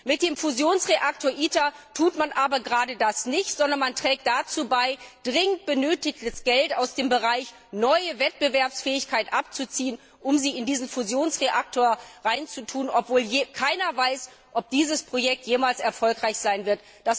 Mit dem Fusionsreaktor ITER tut man aber gerade das nicht, sondern man trägt dazu bei, dringend benötigtes Geld aus dem Bereich neue Wettbewerbsfähigkeit abzuziehen, um es in diesen Fusionsreaktor zu stecken, obwohl keiner weiß, ob dieses Projekt jemals erfolgreich sein wird.